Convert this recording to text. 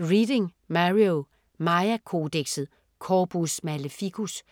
Reading, Mario: Maya-kodekset: Corpus Maleficus